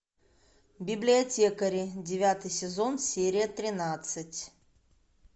библиотекари девятый сезон серия тринадцать